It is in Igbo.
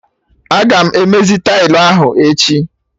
Aga m emezi tailụ ahụ echi